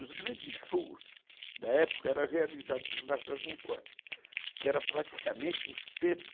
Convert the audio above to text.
Os grandes shows da época eram realizados no Largo da Concórdia, que era praticamente o centro